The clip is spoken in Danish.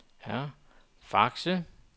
Fakse